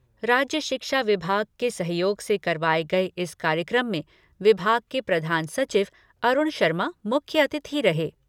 राज्य शिक्षा विभाग के सहयोग से करवाए गए इस कार्यक्रम में विभाग के प्रधान सचिव अरूण शर्मा मुख्य अतिथि रहे।